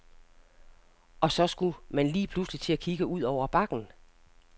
Og så skulle man lige pludselig til at kigge ud over bakken.